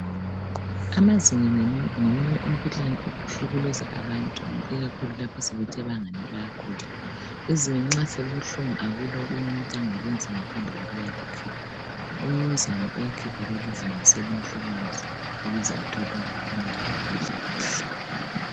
Amazinyo ngomunye umkhuhlane ohlukuluza abantu ikakhulu lapho sebethe angani bayakhula. Izinyo nxa selibuhlungu akula okunye umuntu angakwenza ngaphandle kokuya likhipha. Umnumzana uyakhipha leli zinyo selimhlukuluza ukuze athole ukuphumula lokudla kuhle.